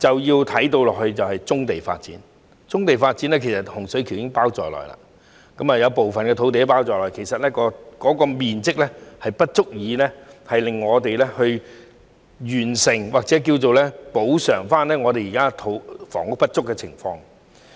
此外，還有棕地發展，當中包括洪水橋的部分土地，但該處的面積不足以令我們完成或補償現時香港房屋不足的情況。